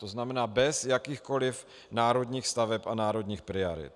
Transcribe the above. To znamená bez jakýchkoliv národních staveb a národních priorit.